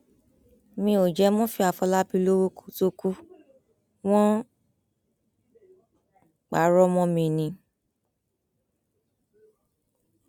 mi ò jẹ murphy àfọlábí lọwọ kó tóó kù wọn parọ mọ mi ni